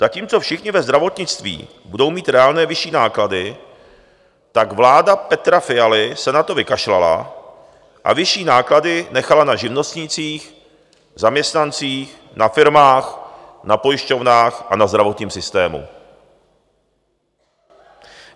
Zatímco všichni ve zdravotnictví budou mít reálné vyšší náklady, tak vláda Petra Fialy se na to vykašlala a vyšší náklady nechala na živnostnících, zaměstnancích, na firmách, na pojišťovnách a na zdravotním systému.